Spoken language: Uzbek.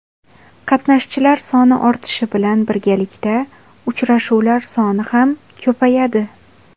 Qatnashchilar soni ortishi bilan birgalikda uchrashuvlar soni ham ko‘payadi.